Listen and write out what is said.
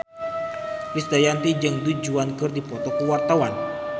Krisdayanti jeung Du Juan keur dipoto ku wartawan